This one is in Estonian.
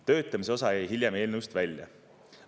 Töötamise osa jäi hiljem eelnõust välja.